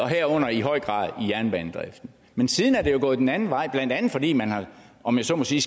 herunder i høj grad jernbanedriften men siden er det jo gået den anden vej blandt andet fordi man om jeg så må sige